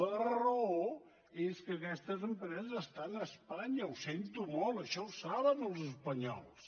la raó és que aquestes empreses estan a espanya ho sento molt això ho saben els espanyols